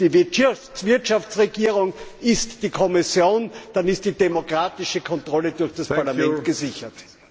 Die Wirtschaftsregierung ist die Kommission, dann ist die demokratische Kontrolle durch das Parlament gesichert.